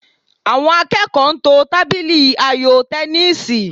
Àwọn akẹ́kọ̀ọ́ ń to tábìlì ayò tẹníìsì